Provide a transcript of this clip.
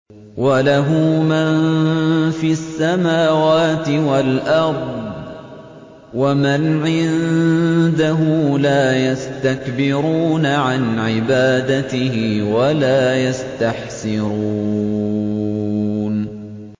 وَلَهُ مَن فِي السَّمَاوَاتِ وَالْأَرْضِ ۚ وَمَنْ عِندَهُ لَا يَسْتَكْبِرُونَ عَنْ عِبَادَتِهِ وَلَا يَسْتَحْسِرُونَ